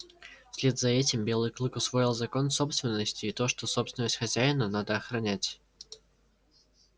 вслед за этим белый клык усвоил закон собственности и то что собственность хозяина надо охранять